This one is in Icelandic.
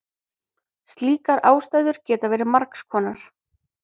Slíkar ástæður geta verið margs konar.